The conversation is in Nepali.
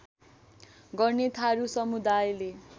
गर्ने थारू समुदायले